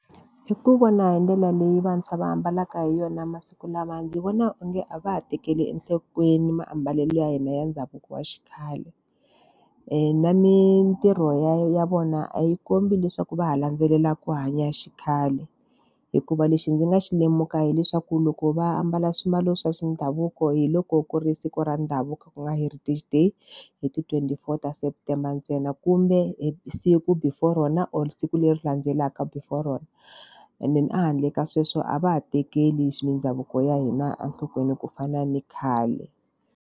Hi ku vona hi ndlela leyi vantshwa va ambalaka hi yona masiku lama ndzi vona onge a va ha tekeli enhlokweni maambalelo ya hina ya ndhavuko wa xikhale. Na mintirho ya ya vona a yi kombi leswaku va ha landzelela ku hanya xikhale. Hikuva lexi ndzi nga xi lemuka hileswaku loko va ambala swiambalo swa ndhavuko hi loko ku ri siku ra ndhavuko ku nga heritage day, hi ti twenty-four ta september ntsena. Kumbe hi siku before rona or siku leri landzelaka before rona. And then a handle ka sweswo a va ha tekeli mindhavuko ya hina enhlokweni ku fana ni khale.